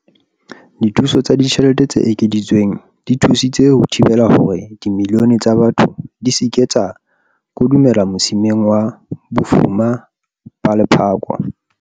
Dithuso tsa ditjhelete tse ekeditsweng di thusitse ho thibela hore dimilione tsa batho di se ke tsa kodumela mosimeng wa bofuma ba lephako.